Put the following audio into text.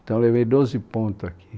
Então eu levei doze pontos aqui.